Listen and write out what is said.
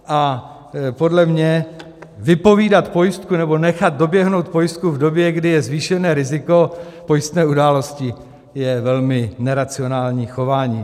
A podle mě vypovídat pojistku nebo nechat doběhnout pojistku v době, kdy je zvýšené riziko pojistné události, je velmi neracionální chování.